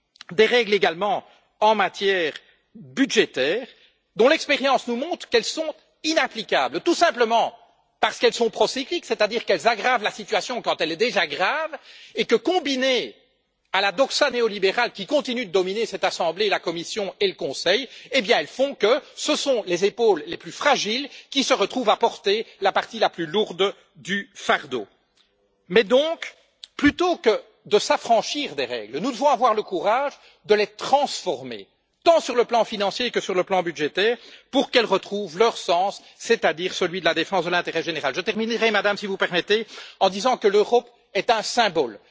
Nous avons certes des règles en matière budgétaire, mais l'expérience nous montre qu'elles sont inapplicables, tout simplement parce qu'elles sont procycliques, c'est à dire qu'elles aggravent la situation quand elle est déjà grave et que, combinées à la doxa néolibérale qui continue de dominer cette assemblée, la Commission et le Conseil, elles font que ce sont les épaules les plus fragiles qui se retrouvent à porter la partie la plus lourde du fardeau. Plutôt que de nous affranchir des règles, nous devons avoir le courage de les transformer, tant sur le plan financier que sur le plan budgétaire, pour qu'elles retrouvent leur sens, c'est à dire celui de la défense de l'intérêt général. Je terminerai, Madame, si vous le permettez, en disant que l'Europe est un symbole.